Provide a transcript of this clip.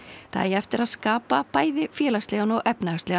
það eigi eftir að skapa vanda bæði félagslegan og efnahagslegan